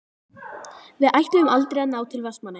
Við ætluðum aldrei að ná til Vestmannaeyja.